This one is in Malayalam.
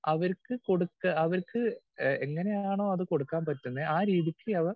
സ്പീക്കർ 2 അവർക്ക് കൊടുക്കാ അവർക്ക് എങ്ങനെയാണോ അത് കൊടുക്കാൻ പറ്റുന്നെ ആ രീതിക്ക് അവർ